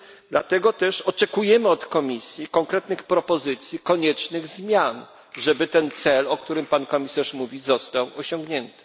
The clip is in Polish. Dlatego też oczekujemy od Komisji konkretnych propozycji koniecznych zmian, żeby ten cel, o którym pan komisarz mówi, został osiągnięty.